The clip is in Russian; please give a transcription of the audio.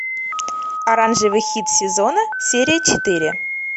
оранжевый хит сезона серия четыре